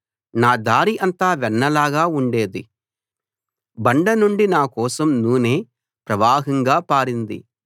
నా దారి అంతా వెన్న లాగా ఉండేది బండ నుండి నా కోసం నూనె ప్రవాహంగా పారింది